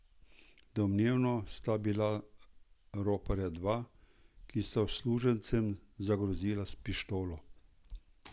Domnevno sta bila roparja dva, ki sta uslužbencem zagrozila s pištolo.